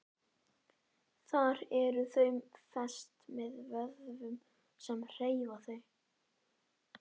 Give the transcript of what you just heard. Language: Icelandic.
Þar eru þau fest með vöðvum sem hreyfa þau.